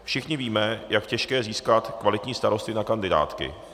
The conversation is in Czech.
Všichni víme, jak je těžké získat kvalitní starosty na kandidátky.